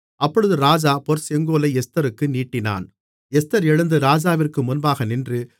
அப்பொழுது ராஜா பொற்செங்கோலை எஸ்தருக்கு நீட்டினான் எஸ்தர் எழுந்து ராஜாவிற்கு முன்பாக நின்று